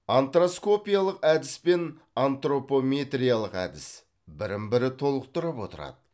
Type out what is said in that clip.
антропоскопиялық әдіс пен антропометриялық әдіс бірін бірі толықтырып отырады